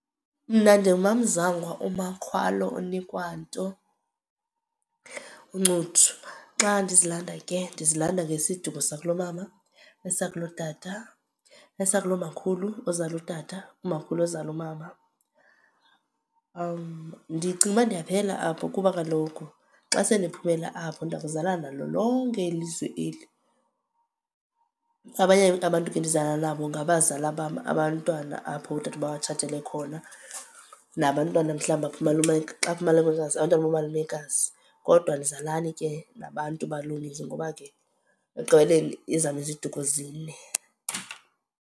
Mna ndinguMaMzangwa, uMakhwalo, uNikwanto, uNcuthu. Xa ndizilanda ke ndizilanda ngesiduko sakulo mama, esakulotata, esakulomakhulu ozala utata, umakhulu ozala umama. Ndicinga uba ndiyaphela apho kuba kaloku xa sendiphumela apho ndiya kuzala nalo lonke elilizwe eli. Abanye abantu ke endizalana nabo ngabazala bam, abantwana apho oodadobawo batshatele khona. Nabantwana mhlawumbi apho umalume, xa umalumekazi, abantwana bakamalumekazi. Kodwa andizalani ke nabantu baloomizi ngoba ke ekugqibeleni ezam iziduko zine.